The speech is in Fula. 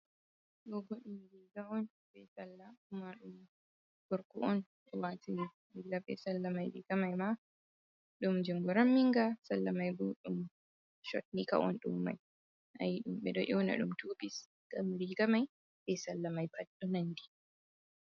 Gogodim ji gawon bei sallauma dum gorku'on jowatiri illa be sallamaiji gamai ma dum jinguran minga sallamai budum chotni kawon dummai ayi dum be do iuna dum tubi gamri gamai bai sallamai fadɗunandi.